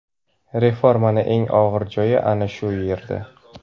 Reformani eng og‘ir joyi ana shu yerda!.